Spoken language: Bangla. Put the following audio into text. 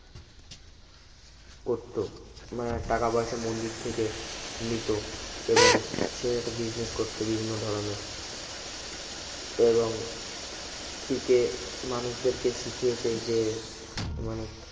করতো মানে টাকা পয়সা মন্দির থেকে নিত এবং সে একটা business করত বিভিন্ন ধরনের এবং পিকে মানুষদেরকে শিখিয়েছে যে মানে